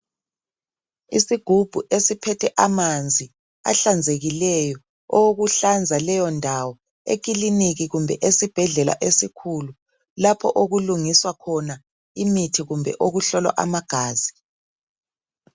Isugubhu esiphethe amanzi ahlanzekileyo owokuhlanza leyo ndawo ekiliniki kumbe esibhedlela esikhulu lapho okulungiswa imithi kumbe okuhlolwa amagazi.